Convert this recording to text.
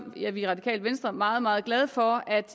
er vi i radikale venstre meget meget glade for at